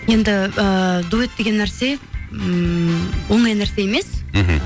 енді ыыы дуэт деген нәрсе ммм оңай нәрсе емес мхм